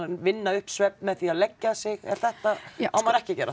vinna upp svefn með því að leggja sig er þetta á maður ekki að gera